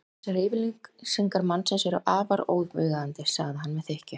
Þessar yfirlýsingar mannsins eru afar óviðeigandi sagði hann með þykkju.